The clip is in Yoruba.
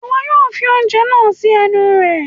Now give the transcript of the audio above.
iwọ yóò fi oúnjẹ naa si ẹnu rẹ